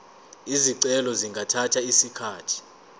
izicelo zingathatha isikhathi